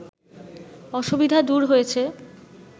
অসুবিধা দূর হয়েছে